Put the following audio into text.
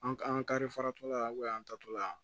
An an ka kari faratɔ la an bɛ yan tatɔla